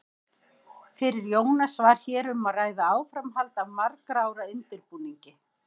Fyrir Jónas var hér um að ræða áframhald af margra ára undirbúningi.